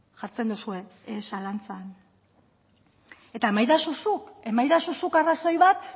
jartzen duzue zalantzan eta emaidazu zuk arrazoi bat